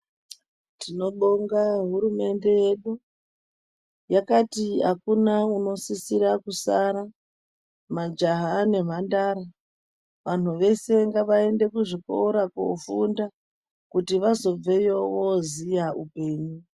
Tinobonga hurumende yedu yakati akuna unosise kusara majaha nemhandara vantu veshe ngavaende kuzvikora kofunda kuti vazonveyo voziya upenyu.